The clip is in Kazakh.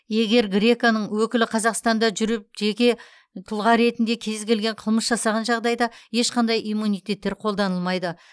егер греко ның өкілі қазақстанда жүріп жеке тұлға ретінде кез келген қылмыс жасаған жағдайда ешқандай иммунитеттер қолданылмайды